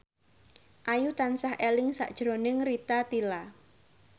Ayu tansah eling sakjroning Rita Tila